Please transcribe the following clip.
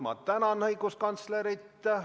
Ma tänan õiguskantslerit!